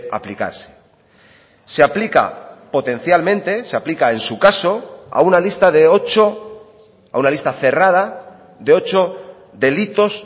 aplicarse se aplica potencialmente se aplica en su caso a una lista de ocho a una lista cerrada de ocho delitos